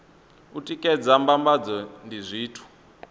u tikedza mbambadzo ndi zwithu